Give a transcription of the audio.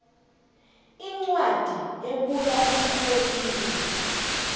incwadi ebuya emrholini